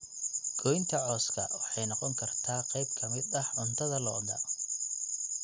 Goynta cawska waxay noqon kartaa qayb ka mid ah cuntada lo'da.